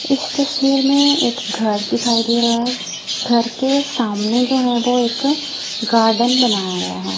इस तस्वीर में एक घर दिखाई दे रहा है। घर के सामने जो है वो एक गार्डन बनाया गया है।